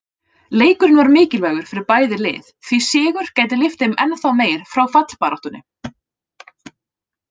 Leikurinn var mikilvægur fyrir bæði lið, því sigur gæti lyft þeim ennþá meir frá fallbaráttunni.